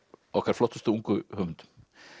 okkar flottustu ungu höfundum